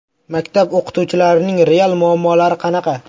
Maktab o‘qituvchilarining real muammolari qanaqa?